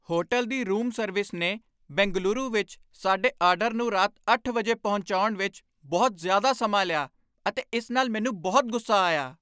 hotel ਦੀ room service ਨੇ ਬੰਗਲੁਰੂ ਵਿੱਚ ਸਾਡੇ ਆਰਡਰ ਨੂੰ ਰਾਤ ਅੱਠ ਵਜੇ ਪਹੁੰਚਾਉਣ ਵਿੱਚ ਬਹੁਤ ਜ਼ਿਆਦਾ ਸਮਾਂ ਲਿਆ ਅਤੇ ਇਸ ਨਾਲ ਮੈਨੂੰ ਬਹੁਤ ਗੁੱਸਾ ਆਇਆ